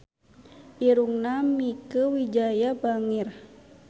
Irungna Mieke Wijaya bangir